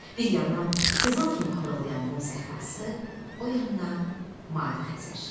Bir yandan qızıl kimi parıldayan qum səhrası, o yandan mavi Xəzər.